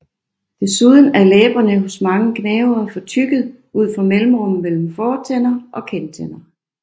Desuden er læberne hos mange gnavere fortykket ud for mellemrummet mellem fortænder og kindtænder